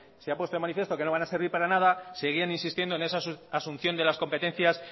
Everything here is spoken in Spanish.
se ha puesto en manifiesto que no van a servir para nada seguían insistiendo en esa asunción de las competencias